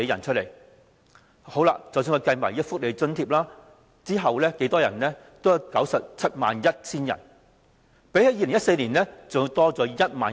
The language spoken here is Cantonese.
而即使我們計算各種福利補助，貧窮人口亦有 971,000 人，比起2014年多約1萬人。